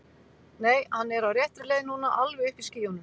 Nei, hann er á réttri leið núna. alveg uppi í skýjunum.